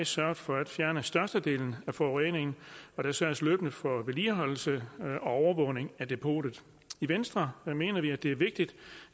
sørget for at fjerne størstedelen af forureningen og der sørges løbende for vedligeholdelse og overvågning af depotet i venstre mener vi at det er vigtigt